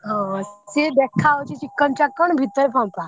ହଁ ସିଏ ଦେଖା ଯାଉଛି ଚିକଣ ଚାକଣ ଭିତର ଫମ୍ପା।